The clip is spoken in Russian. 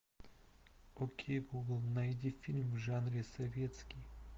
окей гугл найди фильм в жанре советский